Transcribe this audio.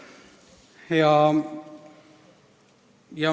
Kolm minutit juurde.